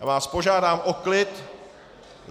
Já vás požádám o klid.